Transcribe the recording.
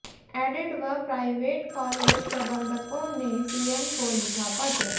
added व private college प्रबंधकों ने सीएम को लिखा पत्र